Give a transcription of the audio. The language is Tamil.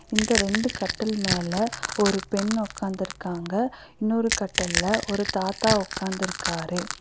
இந்த ரெண்டு கட்டல் மேல ஒரு பெண் உக்காந்துருக்காங்க இன்னொரு கட்டல்ல ஒரு தாத்தா உக்காந்துருக்கிறாரு.